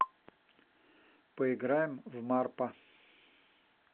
поиграем в марпа